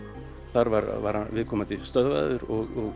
þar var viðkomandi stöðvaður og